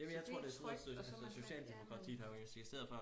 jamen jeg tror det er sådan noget socialdemokratiet har jo eksisteret før